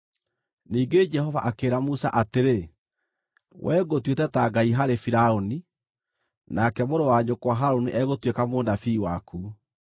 Ningĩ Jehova akĩĩra Musa atĩrĩ, “We ngũtuĩte ta Ngai harĩ Firaũni, nake mũrũ wa nyũkwa Harũni egũtuĩka mũnabii waku.